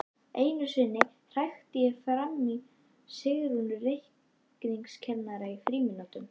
Einu sinni hrækti ég framan í Sigrúnu reikningskennara í frímínútum.